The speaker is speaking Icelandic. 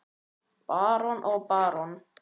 Barón og barón